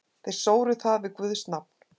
Þeir sóru það við guðs nafn.